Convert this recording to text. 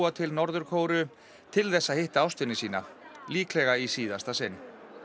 til Norður Kóreu til þess að hitta ástvini sína líklega í síðasta sinn